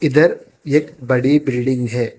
इधर एक बड़ी बिल्डिंग है।